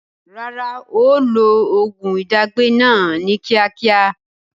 Rárá, ó ó lo oògùn ìdágbẹ́ náà ni kíákíá